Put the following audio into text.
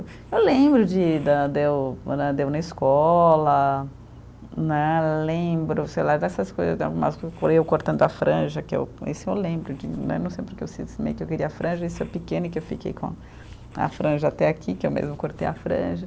Eu lembro de da de eu né, de eu andei na escola né, lembro, sei lá, dessas coisas, eu cortando a franja que eu, isso eu lembro que né, não sei porque eu cismei que eu queria a franja, isso eu pequena e que eu fiquei com a franja até aqui, que eu mesmo cortei a franja.